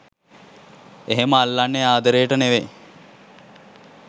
'එහෙම අල්ලන්නේ ආදරේට නෙවෙයි.